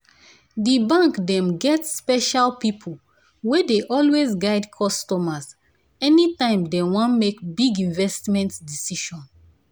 the bank dem get special people wey dey always guide customers anytime dem wan make big investment decision.